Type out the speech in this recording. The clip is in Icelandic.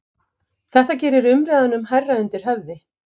Þetta gerir umræðunum hærra undir höfði